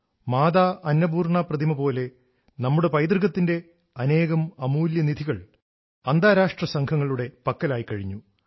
മാതാ അന്നപൂർണ പ്രതിമ പോലെ നമ്മുടെ പൈതൃകത്തിന്റെ അനേകം അമൂല്യ നിധികൾ അന്താരാഷ്ട്ര സംഘങ്ങളുടെ പക്കലായി കഴിഞ്ഞു